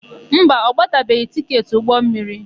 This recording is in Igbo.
Mba, ọ gbatabeghị tịketị ụgbọmmiri.